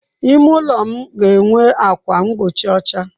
Ime ụlọ m ga enwe ákwà mgbochi ọcha.